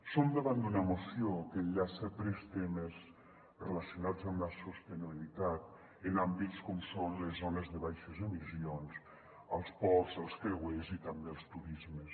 som davant d’una moció que enllaça tres temes relacionats amb la sostenibilitat en àmbits com són les zones de baixes emissions els ports els creuers i també els turismes